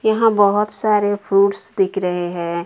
यहां बहुत सारे फ्रूट्स दिख रहे हैं।